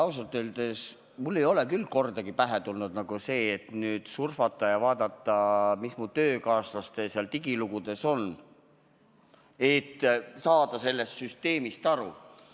Ausalt öeldes ei ole mulle küll kordagi pähe tulnud, et surfata ja vaadata, mis mu töökaaslaste digilugudes kirjas on, et sellest süsteemist aru saada.